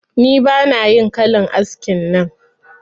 Ni bana yin kalan askin nan